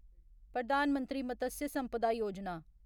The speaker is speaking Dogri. प्रधान मंत्री मत्स्य संपदा योजना